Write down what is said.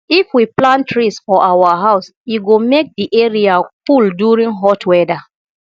if we plant trees for our house e go make di area cool during hot weather